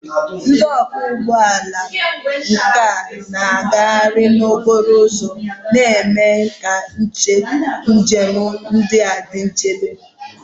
Ndị ọkwọ ụgbọ ala nwere nkà na-agagharị n'okporo ụzọ, na-eme ka njem dị nchebe.